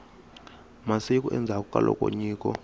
masiku endzhaku ka loko nyiko